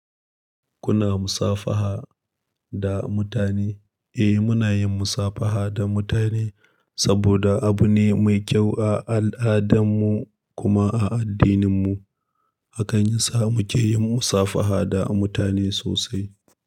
Kuna musafaha da mutane? Eh, muna yin musafaha da mutane saboda abu ne mai kyau a al'adarmu kuma a addininmu. Hakani sa muke yin musafaha da mutane sosai.